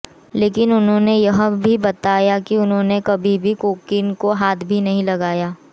लेकिन उन्होंने यह भी बताया कि उन्होंने कभी भी कोकीन को हाथ नहीं लगाया